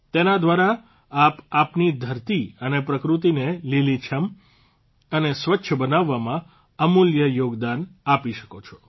તેના દ્વારા આપ આપની ધરતી અને પ્રકૃતિને લીલીછમ અને સ્વચ્છ બનાવવામાં અમૂલ્ય યોગદાન આપી શકો છો